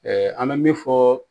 an bɛ min fɔ